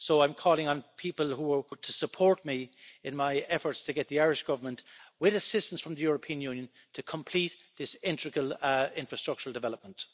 So I'm calling on people to support me in my efforts to get the Irish Government, with assistance from the European Union, to complete this integral infrastructural development.